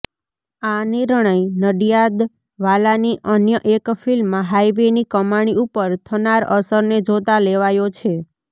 આ નિર્ણય નડિયાદવાલાની અન્ય એક ફિલ્મ હાઈવેની કમાણી ઉપર થનાર અસરને જોતા લેવાયો છે